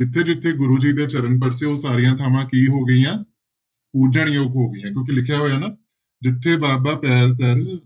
ਜਿੱਥੇ ਜਿੱਥੇ ਗੁਰੂ ਜੀ ਦੇ ਚਰਨ ਪਰਸੇ, ਉਹ ਸਾਰੀਆਂ ਥਾਵਾਂ ਕੀ ਹੋ ਗਈਆਂ? ਪੂਜਣਯੋਗ ਹੋ ਗਈਆਂ ਕਿਉਂਕਿ ਲਿਖਿਆ ਹੋਇਆ ਨਾ ਜਿਥੈ ਬਾਬਾ ਪੈਰ ਧਰੈ